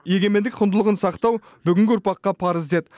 егемендік құндылығын сақтау бүгінгі ұрпаққа парыз деді